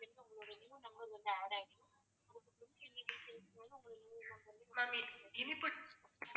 இனிப்பு